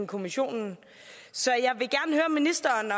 kommissionen og ministeren